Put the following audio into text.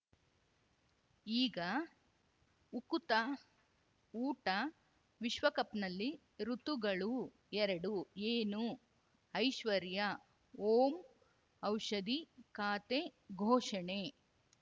ಈಗ ಉಕುತ ಊಟ ವಿಶ್ವಕಪ್‌ನಲ್ಲಿ ಋತುಗಳು ಎರಡು ಏನು ಐಶ್ವರ್ಯಾ ಓಂ ಔಷಧಿ ಖಾತೆ ಘೋಷಣೆ